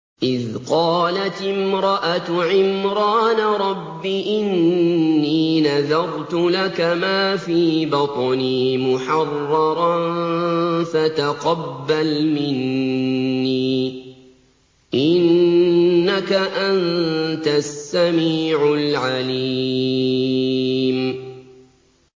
إِذْ قَالَتِ امْرَأَتُ عِمْرَانَ رَبِّ إِنِّي نَذَرْتُ لَكَ مَا فِي بَطْنِي مُحَرَّرًا فَتَقَبَّلْ مِنِّي ۖ إِنَّكَ أَنتَ السَّمِيعُ الْعَلِيمُ